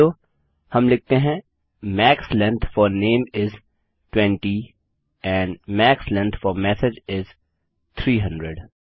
नहीं तो हम लिखते हैं max length for name is 20 and max length for message is 300